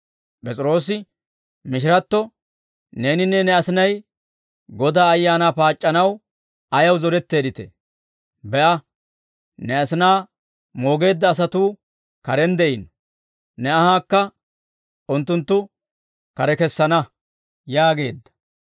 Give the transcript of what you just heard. P'es'iroosi mishiratto, «Neeninne ne asinay Godaa Ayaanaa paac'c'anaw ayaw zoretteedditee? Be'a; ne asinaa moogeedda asatuu karen de'iino; ne anhaakka unttunttu kare kessana» yaageedda.